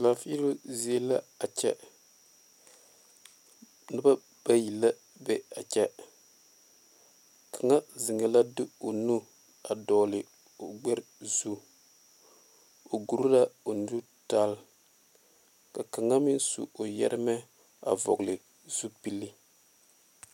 Laafiilɔ zie la a kyɛ noba bayi la be a kyɛ kaŋa zeŋe la de o nu dogle o gbere zu o gɔɔre la o nu tali ka kaŋa meŋ su o yeeremɛ a vɔgle zupele.